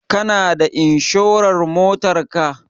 Kana da inshurar Motar ka?